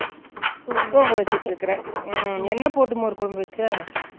தூங்க வெச்சுட்டு இருக்க உம் என்ன போட்டு மோர் கொழம்புவெச்ச